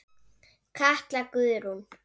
Katla Guðrún.